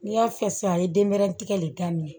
N'i y'a fɛ sisan a ye denmɛrɛnin tigɛ de daminɛ